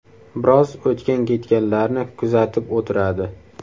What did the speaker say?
Biroz o‘tgan-ketganlarni kuzatib o‘tiradi.